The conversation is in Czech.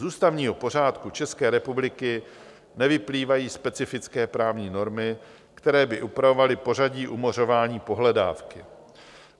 Z ústavního pořádku České republiky nevyplývají specifické právní normy, které by upravovaly pořadí umořování pohledávky.